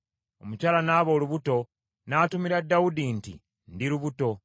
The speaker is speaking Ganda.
Omukyala n’aba olubuto, n’atumira Dawudi nti, “Ndi lubuto.”